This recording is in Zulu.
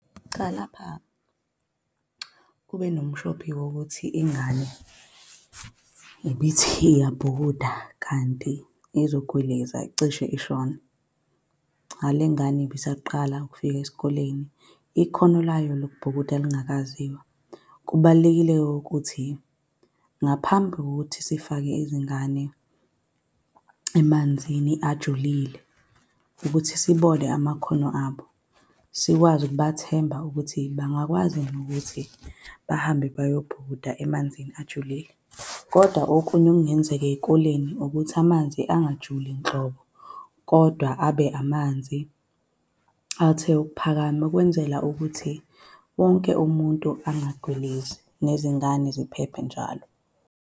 Cha lapha, kube nomshophi wokuthi ingane ibithi iyabhukuda, kanti izogwiliza cishe ishone. Nale ngane ibisaqala ukufika esikoleni, ikhono layo lokubhukuda likangaziwa. Kubalulekile-ke ukuthi ngaphambi kokuthi sifake izingane emanzini ajulile ukuthi sibone amakhono abo. Sikwazi ukubathemba ukuthi bangakwazi nokuthi bahambe bayobhukuda emanzini ajulile. Kodwa okunye okungenzeka ey'koleni ukuthi amanzi angajabuli nhlobo, kodwa abe amanzi athe ukuphakama, ukwenzela ukuthi wonke umuntu engagwilizi nezingane ziphephe njalo.